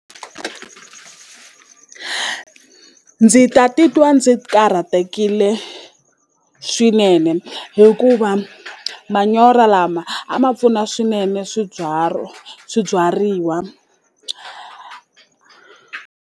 Ndzi ta titwa ndzi karhatekile swinene hikuva manyoro lama a ma pfuna swinene swibyariwa.